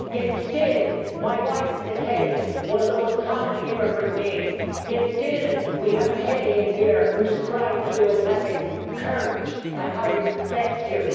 Yet, still, my wife is a Kelly, one of the most common immigrant names. Yet, still, we have a Kelly in here who describes you as having courage and says how he respects you.